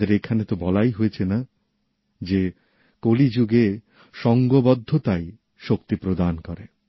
আমাদের এখানে তো বলাই হয়েছে যে কলিযুগে সঙ্ঘবদ্ধতাই শক্তি প্রদান করে